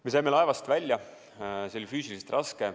Me saime laevast välja, see oli füüsiliselt raske.